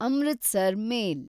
Amritsar ಮೇಲ್